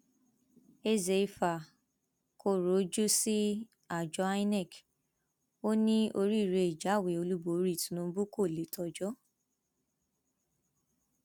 ezeifa kọrọ ojú sí àjọ inov ó ní oríire ìjáwé olúborí tìǹbù kó lè tọjọ